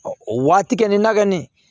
O waati kɛ nin na kɔni